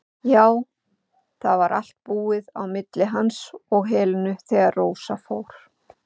Já, það var allt búið á milli hans og Helenu þegar Rósa fór.